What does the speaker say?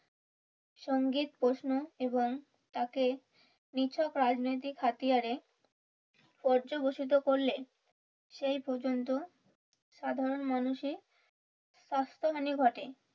সঙ্গীর প্রশ্ন এবং তাতে নিছক রাজনৈতিক হাতিয়ারে পর্যবেশিত করলে সেই পর্যন্ত সাধারণ মানুষই স্বাস্থ্য হানি ঘটে